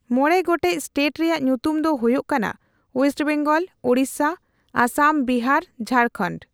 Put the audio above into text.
ᱢᱚᱬᱮ ᱜᱚᱴᱮᱡ ᱮᱥᱴᱮᱴ ᱨᱮᱭᱟᱜ ᱧᱩᱛᱩᱢ ᱫᱚ ᱦᱩᱭᱩᱜ ᱠᱟᱱᱟᱼ ᱚᱭᱮᱥᱴ ᱵᱮᱝᱜᱚᱞ, ᱳᱲᱤᱥᱥᱟ, ᱟᱥᱟᱢ, ᱵᱤᱦᱟᱨ, ᱡᱷᱟᱲᱠᱷᱚᱸᱰ᱾